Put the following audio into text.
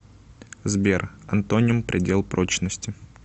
сбер антоним предел прочности